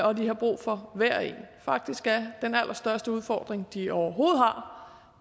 og de har brug for hver og en faktisk er den allerstørste udfordring de overhovedet har